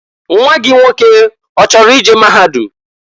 Nwa gị nwoke ọchọrọ i je maahadum?